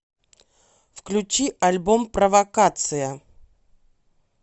включи альбом провокация